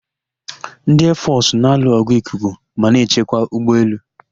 Ndị eefọsụ na alụ ọgụ ikuku ma na-echekwa ụgbọ elu.